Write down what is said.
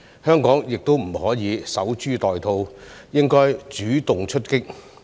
香港亦不可以守株待兔，應主動出擊。